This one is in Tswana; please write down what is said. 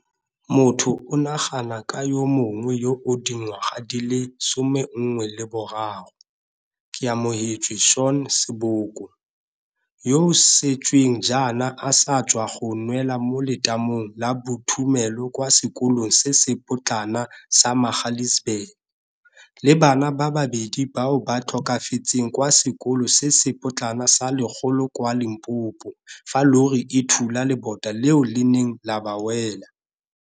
Motho o nagana ka yo mongwe yo o dingwaga di le 13, Keamohetswe Shaun Seboko, yoo sešweng jaana a sa tswang go nwela mo letamong la bothumelo kwa sekolong se se potlana sa Magaliesburg, le bana ba babedi bao ba tlhokafetseng kwa Sekolo se se Potlana sa Lekgolo kwa Limpopo fa llori e thula lebota leo le neng la ba wela.